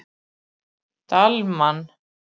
Dalmann